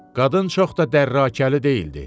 Qadın çox da dərrəkəli deyildi.